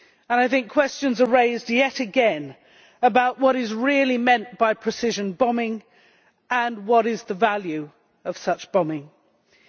I think questions are raised yet again about what is really meant by precision bombing, and what the value of such bombing is.